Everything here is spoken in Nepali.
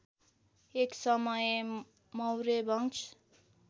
एक समय मौर्यवंश